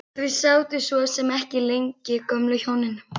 Þau sátu svo sem ekki lengi gömlu hjónin.